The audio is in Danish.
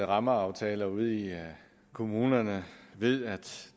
rammeaftaler ude i kommunerne ved at